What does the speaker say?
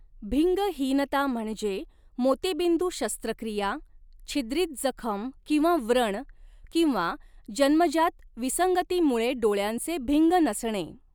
भिंगहीनता म्हणजे मोतीबिंदू शस्त्रक्रिया, छिद्रित जखम किंवा व्रण, किंवा जन्मजात विसंगतीमुळे डोळ्यांचे भिंग नसणे.